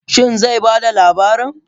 Shin zai ba da labarin?